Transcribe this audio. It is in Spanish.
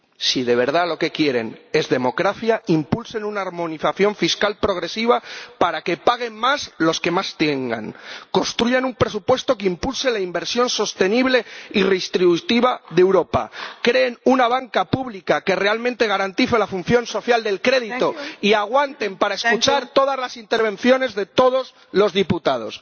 Si de verdad lo que quieren es democracia, impulsen una armonización fiscal progresiva para que paguen más los que más tengan, construyan un presupuesto que impulse la inversión sostenible y redistributiva de Europa, creen una banca pública que realmente garantice la función social del crédito y aguanten para escuchar todas las intervenciones de todos los diputados.